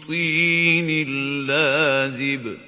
طِينٍ لَّازِبٍ